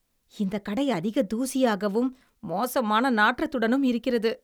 இந்தக் கடை அதிக தூசியாகவும், மோசமான நாற்றத்துடனும் இருக்கிறது.